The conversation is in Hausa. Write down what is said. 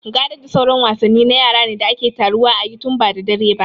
Gaɗa da sauran wasanni na yara ne da ake taruwa a yi tun ba da dare ba